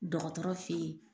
Dɔgɔtɔrɔ feyi.